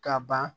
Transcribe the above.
Ka ban